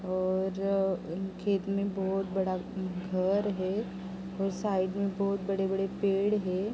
और खेत में बहोत बड़ा घर है और साइड में बोहोत बड़े-बड़े पेड़ है ।